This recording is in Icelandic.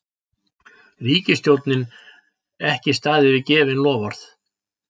Ríkisstjórnin ekki staðið við gefin loforð